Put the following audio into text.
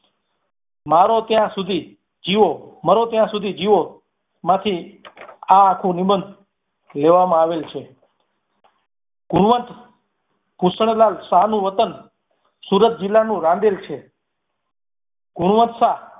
મરો ત્યાં સુધી જીવો માંથી આ આખું નિબંધ લેવામાં આવેલ છે. ગુણવંત ભૂષણલાલ શાહનું વતન સુરત જિલ્લાનું રાંદેલ છે. ગુણવંત શાહ